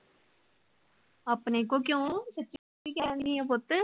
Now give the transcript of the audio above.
ਆਪਣੇ ਕੋ ਕਿਉਂ . ਸੱਚੀ ਕਹਿਣ ਦਿਆਂ ਪੁੱਤ